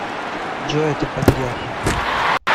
джой это подделка